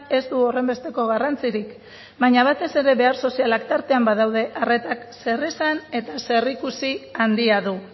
ez du horrenbesteko garrantzirik baina batez ere behar sozialak tartean badaude arretak zeresan eta zerikusi handia du